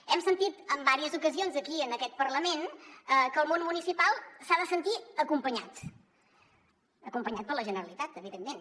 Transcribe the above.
hem sentit en diverses ocasions aquí en aquest parlament que el món municipal s’ha de sentir acompanyat acompanyat per la generalitat evidentment